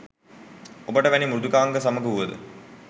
ඔබට වැනි මෘදුකාංග සමග වුවද